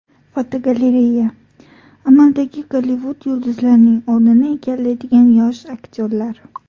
Fotogalereya: Amaldagi Gollivud yulduzlarining o‘rnini egallaydigan yosh aktyorlar.